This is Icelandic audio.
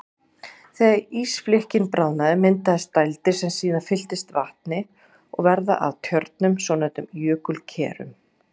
Þegar ísflikkin bráðna myndast dældir sem síðan fyllast vatni og verða að tjörnum, svonefndum jökulkerum.